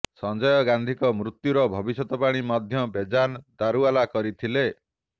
ସଞ୍ଜୟ ଗାନ୍ଧୀଙ୍କ ମୃତ୍ୟୁର ଭବିଷ୍ୟବାଣୀ ମଧ୍ୟ ବେଜାନ ଦାରୁଓ୍ବାଲା କରିଥିଲେ